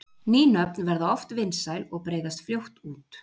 ný nöfn verða oft vinsæl og breiðast fljótt út